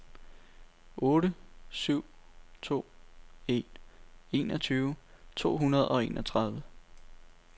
otte syv to en enogtyve to hundrede og enogtredive